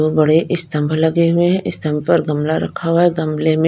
बहोत बड़े स्तंभ लगे हुए हैं स्तंभ पर गमला रखा हुआ है गमले में--